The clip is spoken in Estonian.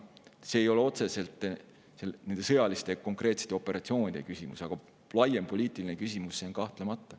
See ei ole otseselt nende konkreetsete sõjaliste operatsioonide küsimus, aga laiem poliitiline küsimus on see kahtlemata.